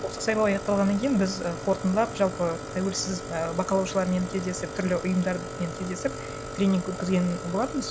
осы сайлау аяқталғаннан кейін біз і қорытындылап жалпы тәуелсіз і бақылаушылармен кездесіп түрлі ұйымдармен кездесіп тренинг өткізген болатынбыз